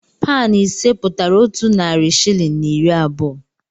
Paụnụ ise pụtara otu narị shịlịn na iri abụọ.